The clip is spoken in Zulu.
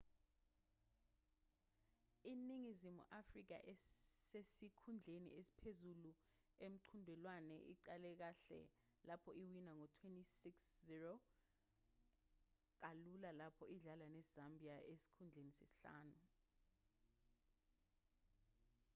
iningizimu afrika esesikhundleni esiphezulu emqhudelwaneni iqale kahle lapho iwina ngo-26 -00 kalula lapho idlala nezambia esesikhundleni sesihlanu